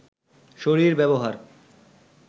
শরীর ব্যবহার